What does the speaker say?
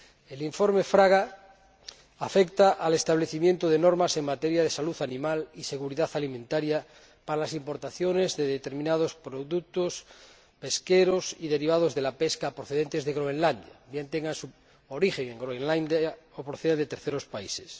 El informe Fraga Estévez afecta al establecimiento de normas en materia de salud animal y seguridad alimentaria para las importaciones de determinados productos pesqueros y derivados de la pesca procedentes de Groenlandia, bien tengan su origen en Groenlandia o procedan de terceros países.